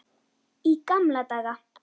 Í gamla daga.